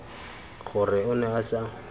gore o ne a sa